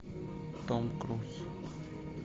том круз